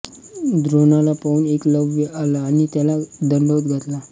द्रोणाला पाहून एकलव्य आला आणि त्याला दंडवत घातला